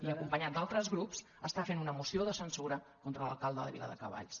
i acompanyat d’altres grups està fent una moció de censura contra l’alcalde de viladecavalls